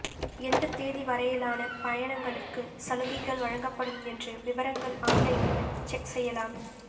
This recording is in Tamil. எந்தத் தேதி வரையிலான பயணங்களுக்குச் சலுகைகள் வழங்கப்படும் என்று விவரங்கள் ஆன்லைனில் செக் செய்யலாம்